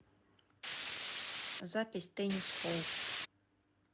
запись теннис холл